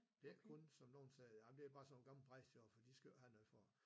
Det ikke kun som nogen siger jamen det bare sådan nogle gamle bras derovre de for skal jo ikke have noget for det